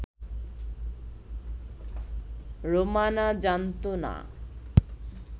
রোমানা জানতো না